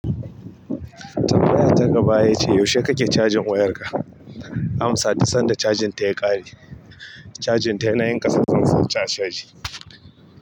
Tambaya ta gaba ya ce, yaushe kake cajin wayarka? Amsa, duk san da cajin ta ya kare. Cajin ta yana yin ƙasa zan sa ta a caji.